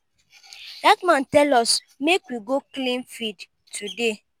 dat man tell us make we go clean field today.